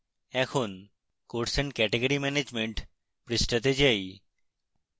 এখন course and category management পৃষ্ঠাতে যাই